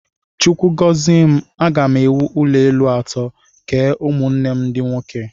Chukwu gọzie m, aga m ewu ụlọelu atọ, kee ụmụnne m ndị nwoke